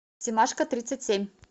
семашко тридцать семь